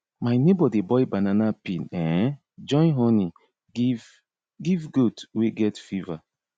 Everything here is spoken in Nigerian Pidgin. my neighbor dey boil banana peel um join honey give give goat wey get fever